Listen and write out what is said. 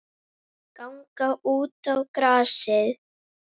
Ganga út á grasið.